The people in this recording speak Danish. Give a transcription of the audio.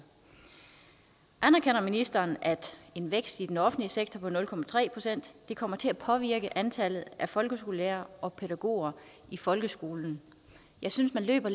anerkender ministeren at en vækst i den offentlige sektor på nul procent kommer til at påvirke antallet af folkeskolelærere og pædagoger i folkeskolen jeg synes man løber